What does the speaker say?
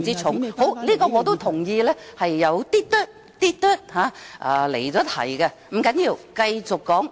好的，我亦同意有些離題，不要緊，我繼續發言。